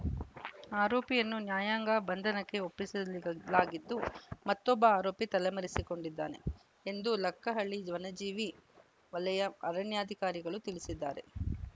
ಆರೋಪಿಯನ್ನು ನ್ಯಾಯಾಂಗ ಬಂಧನಕ್ಕೆ ಒಪ್ಪಿಸಲಾಲಾಗಿದ್ದು ಮತ್ತೊಬ್ಬ ಆರೋಪಿ ತಲೆಮರೆಸಿಕೊಂಡಿದ್ದಾನೆ ಎಂದು ಲಕ್ಕಹಳ್ಳಿ ವನಜೀವಿ ವಲಯ ಅರಣ್ಯಾಧಿಕಾರಿಗಳು ತಿಳಿಸಿದ್ದಾರೆ